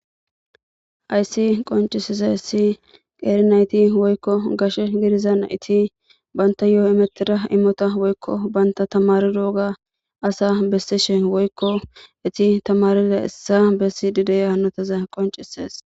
Hayssi qoncisiza essi qeeri nayti woykko gashe gidizana iti banta yo7o imetira immota woykko baynta tamaridowoga asa bessishe woykko eti tamarila essa bessi dideya hannotaza qoncisees.